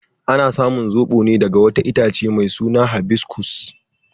Ana samun zobo ne daga wata itace mai suna habiscus.